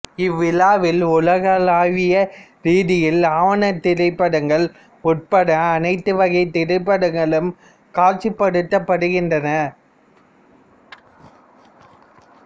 இவ்விழாவில் உலகளாவிய ரீதியில் ஆவணத் திரைப்படங்கள் உட்பட அனைத்து வகைத் திரைப்படங்களும் காட்சிப்படுத்தப்படுகின்றன